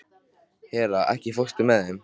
Hera, ekki fórstu með þeim?